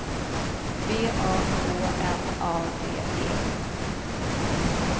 V A K N A D E